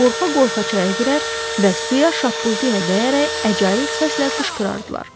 Qorxa-qorxa çaya girər və suya şappıltı ilə dəyərək əcaib səslə qışqırardılar.